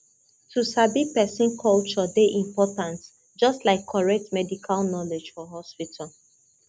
to sabi person culture dey important just like correct medical knowledge for hospital